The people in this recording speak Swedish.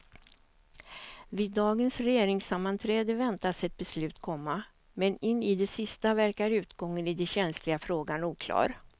Vid dagens regeringssammanträde väntas ett beslut komma, men in i det sista verkar utgången i den känsliga frågan oklar.